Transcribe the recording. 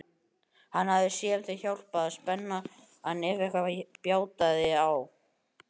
Hann hafði séð þeim hjálpað á spenann ef eitthvað bjátaði á.